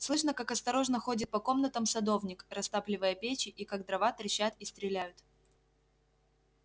слышно как осторожно ходит по комнатам садовник растапливая печи и как дрова трещат и стреляют